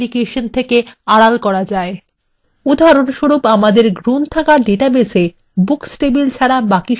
উদাহরণস্বরূপ আমাদের library ডাটাবেসের মধ্যে books টেবিলগুলিকে ছাড়া বাকি সব table আড়াল করা যাক